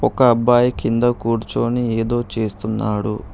ఒక అబ్బాయి కింద కూర్చొని ఏదో చేస్తున్నాడు.